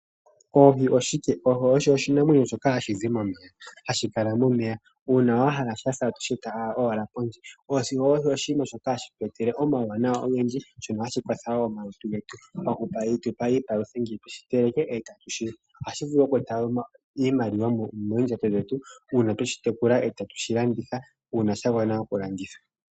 Oohi oshike, oohi osho oshinamwenyo shoka hashi kala momeya nuuna wahala shasa oto sheta pondje. Oohi ohadhi tu etele omauwanawa ogendji dho ohadhi palutha omalutu getu hatu shiteleke etatu shili. Oohi ohadhi vulu okweeta iimaliwa moondjando dhetu uuna twedhi tekula eta dhadha okulandithwa.